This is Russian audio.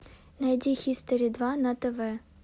найди хистори два на тв